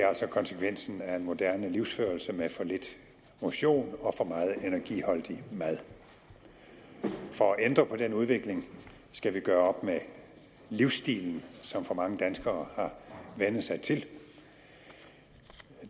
altså konsekvensen af en moderne livsførelse med for lidt motion og for meget energiholdig mad for at ændre på den udvikling skal vi gøre op med livsstilen som for mange danskere har vænnet sig til